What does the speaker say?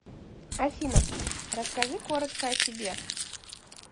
афина расскажи коротко о себе